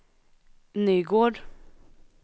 Nygård